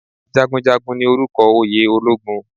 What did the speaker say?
Jagunjagun ni orúkọ oyè ológun